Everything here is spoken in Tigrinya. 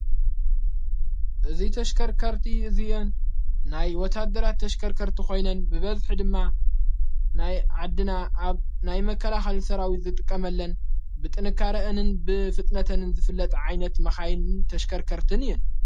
እዙይ ተሽከርከርቲ እዙእን ናይ ወታደራት ተሽከርከርቲ ኾይነን ብበብኂ ድማ ናይ ዓድና ኣብ ናይ መከላ ሃልሠራዊት ዘጥቀመለን ብጥንካረአንን ብፍጥነተንን ዝፍለጥ ዓይነት መኻይን ተሽከርከርትን እየን።